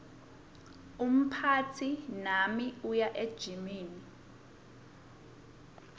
umphatsi nami uya ejimini